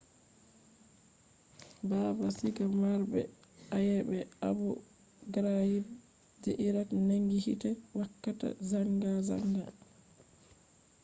baabal siga marɓe ayebe abu ghraib je iraq nangi hite wakka zangazanga